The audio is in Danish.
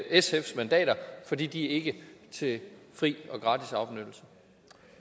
sfs mandater fordi de ikke er til fri